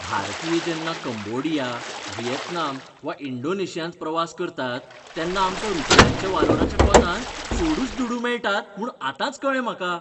भारतीय जेन्ना Cambodia, Vietnam वा इंडोनेशियांत प्रवास करतात तेन्ना आमकां रूपयाच्या वालोराच्या कोंतान चडूच दुडू मेळटात म्हूण आतांच कळ्ळें म्हाका.